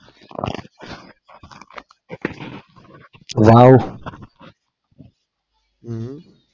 હમ